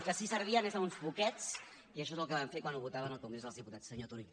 que sí servien és a uns poquets i això és el que van fer quan ho votaven al congrés dels diputats senyor turull